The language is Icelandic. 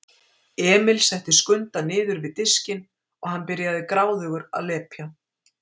Emil setti Skunda niður við diskinn og hann byrjaði gráðugur að lepja.